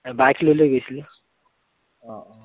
Bike লৈ লৈ গৈছিলোঁ।